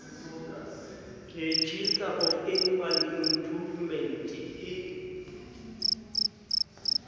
registrar of animal improvement e